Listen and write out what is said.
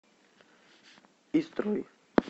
истрой